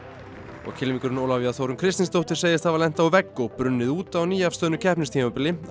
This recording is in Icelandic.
og kylfingurinn Ólafía Þórunn Kristinsdóttir segist hafa lent á vegg og brunnið út á nýafstöðnu keppnistímabilinu á